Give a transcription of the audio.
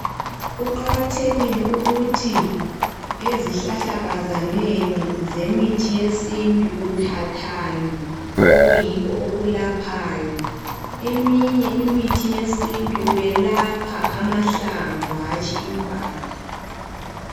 Kuqakathekile ukuthi ezihlahlakazaneni zemithi yesintu, uthathani, okuyikho okwelaphayo. Kweminye imithi yesintu, kwelapha amahlamvu, hatshi impande.